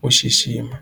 ku xixima.